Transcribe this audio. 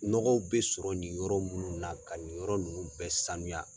Nɔgɔw bɛ sɔrɔ nin yɔrɔ munnu na ka nin yɔrɔ ninnu bɛɛ sanuya.